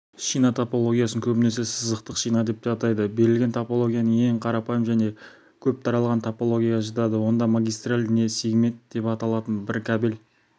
шина тплгиясын көбінесе сызықтық шина деп атайды берілген топология ең қарапайым және көп тараған топологияға жатады онда магистраль не сегмент деп аталатын бір кабель